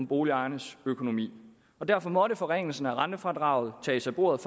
boligejernes økonomi derfor måtte forringelsen af rentefradraget tages af bordet